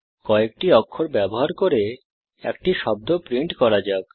কয়েকটি অক্ষর ব্যবহার করে একটি শব্দ প্রিন্ট করা যাক